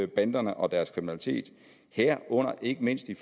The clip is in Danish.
banderne og deres kriminalitet herunder ikke mindst i